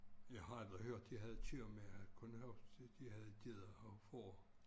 Jeg har aldrig hørt de havde køer men jeg har kun hørt de havde geder og får